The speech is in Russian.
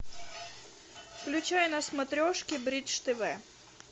включай на смотрешке бридж тв